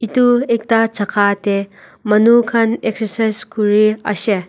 edu ekta jaka tae manu khan excercise kuriashae.